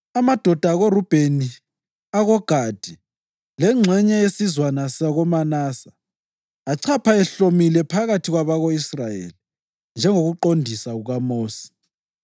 Amadoda akoRubheni, akoGadi lengxenye yesizwana sakoManase achapha ehlomile phambi kwabako-Israyeli njengokuqondisa kukaMosi.